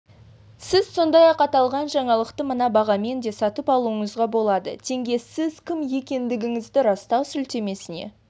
сіз сондай-ақ аталған жаңалықты мына бағамен де сатып алуыңызға болады тенге сіз кім екендігіңізді растау сілтемесіне